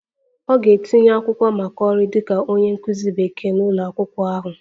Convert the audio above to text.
Ọ ga-etinye akwụkwọ maka ọrụ dịka onye nkụzi Bekee n'ụlọ akwụkwọ ahụ